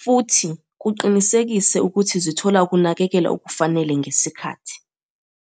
futhi kuqinisekise ukuthi zithola ukunakekelwa okufanele ngesikhathi.